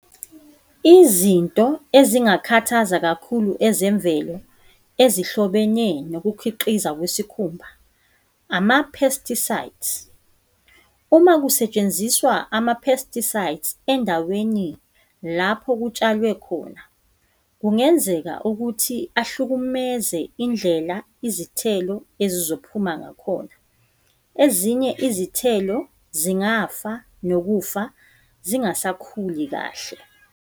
Izinto ezingakhathaza kakhulu ezemvelo ezihlobene nokukhiqiza kwesikhumba, ama-pesticides. Uma kusetshenziswa ama-pesticides endaweni lapho kutshalwe khona, kungenzeka ukuthi ahlukumeze indlela izithelo ezizophuma ngakhona. Ezinye izithelo zingafa nokufa zingasakhuli kahle.